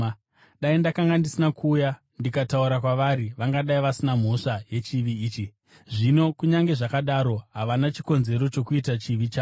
Dai ndakanga ndisina kuuya ndikataura kwavari, vangadai vasina mhosva yechivi ichi. Zvino, kunyange zvakadaro, havana chikonzero chokuita chivi chavo.